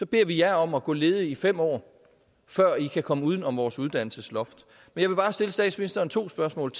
beder vi jer om at gå ledige i fem år før i kan komme uden om vores uddannelsesloft jeg vil bare stille statsministeren to spørgsmål